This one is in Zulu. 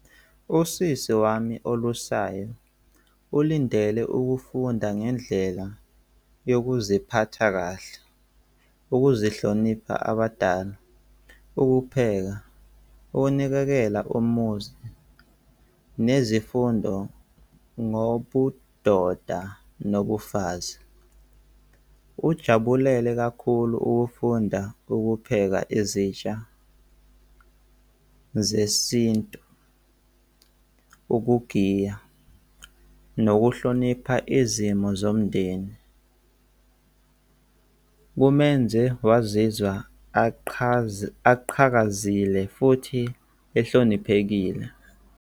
Usisi wami olusayo ulindele ukufunda ngendlela yokuziphatha kahle ukuzihlonipha abadala, ukupheka, ukunakekela umuzi nezifundo ngobudoda nobufazi. Ujabulele kakhulu ukufunda, ukupheka izitsha zesintu, ukugiya nokuhlonipha izimo zomndeni. Kumenze wazizwa aqhakazile futhi ehloniphekile.